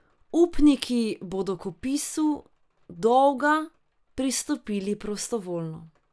Upniki bodo k odpisu dolga pristopili prostovoljno.